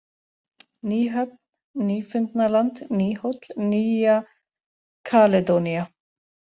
Ný-Höfn, Nýfundnaland, Nýhóll, Nýja-Kaledónía